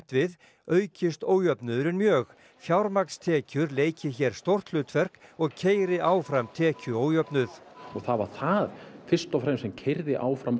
við aukist ójöfnuðurinn mjög fjármagnstekjur leiki hér stórt hlutverk og keyri áfram tekjuójöfnuð og það var það fyrst og fremst sem keyrði áfram